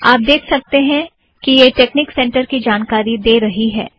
आप देख सकतें हैं कि यह टेकनिक सेंटर की जानकारी दे रही है